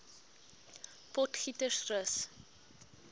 potgietersrus